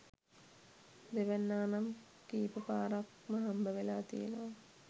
දෙවැන්නා නම් කීප පාරක්ම හම්බවෙලා තියෙනවා.